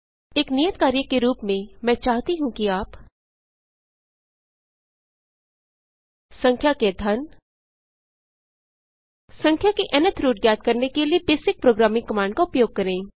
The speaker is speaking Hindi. एक नियत कार्य के रूप में मैं चाहती हूँ कि आप संख्या के घन संख्या के न्थ रूट ज्ञात करने के लिए बेसिक प्रोग्रामिंग कमांड का उपयोग करें